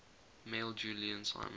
mailed julian simon